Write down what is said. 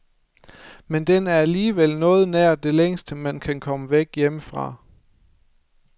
Men den er alligevel noget nær det længste, man kan komme væk hjemmefra.